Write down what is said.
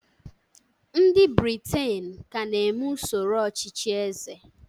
ndị Britain ka na-eme usoro ọchịchị eze